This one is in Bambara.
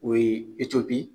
O ye etiyopi